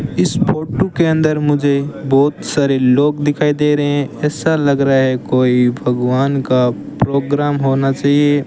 इस फोटो के अंदर मुझे बहुत सारे लोग दिखाई दे रहे हैं ऐसा लग रहा है कोई भगवान का प्रोग्राम होना चाहिए।